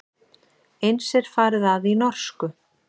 Eins er farið að í norsku.